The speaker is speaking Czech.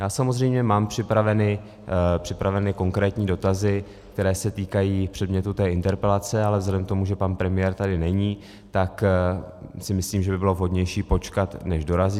Já samozřejmě mám připraveny konkrétní dotazy, které se týkají předmětu té interpelace, ale vzhledem k tomu, že pan premiér tady není, tak si myslím, že by bylo vhodnější počkat, než dorazí.